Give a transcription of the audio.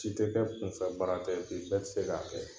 Si tɛ kɛ kunfɛbaara tɛ bɛɛ tɛ se k'a kɛ